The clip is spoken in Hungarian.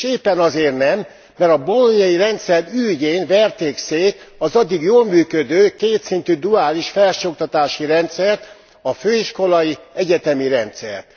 És éppen azért nem, mert a bolognai rendszer ürügyén verték szét az addig jól működő kétszintű, duális felsőoktatási rendszert a főiskolai, egyetemi rendszert.